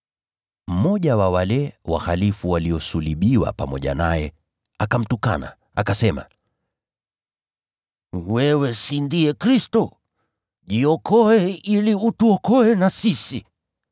Mmoja wa wale wahalifu waliosulubiwa pamoja naye akamtukana, akasema: “Wewe si ndiye Kristo? Jiokoe mwenyewe na utuokoe na sisi.”